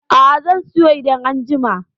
A'a, zan siyo idan an jima.